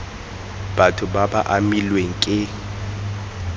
batho ba ba amilweng ke